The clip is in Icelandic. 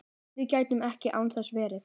Við gætum ekki án þess verið